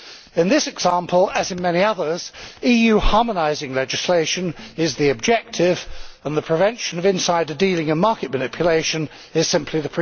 In this example, as in many others, EU harmonising legislation is the objective and the prevention of insider dealer and market manipulation is simply the pretext.